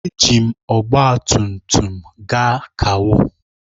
Eji m ọgba tum tum gaa kawo.